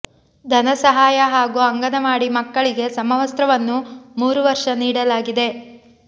ಧನ ಸಹಾಯ ಹಾಗೂ ಅಂಗನವಾಡಿ ಮಕ್ಕಳಿಗೆ ಸಮವಸ್ತ್ರವನ್ನು ಮೂರು ವರ್ಷ ನೀಡಲಾಗಿದೆ